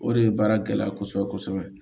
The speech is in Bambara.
O de ye baara gɛlɛya kosɛbɛ kosɛbɛ